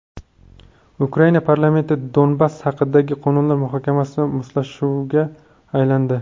Ukraina parlamentida Donbass haqidagi qonunlar muhokamasi mushtlashuvga aylandi .